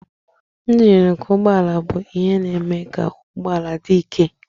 Njin nke ụgbọ ala bụ ihe na-eme ka ụgbọ ala dị ike.